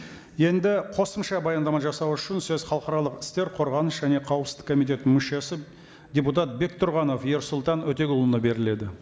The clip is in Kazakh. енді қосымша баяндама жасау үшін сөз халықаралық істер қорғаныс және қауіпсіздік комитетінің мүшесі депутат бектұрғанов ерсұлтан өтеғұлұлына беріледі